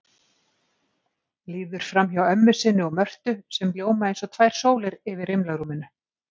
Líður framhjá ömmu sinni og Mörtu sem ljóma eins og tvær sólir yfir rimlarúminu.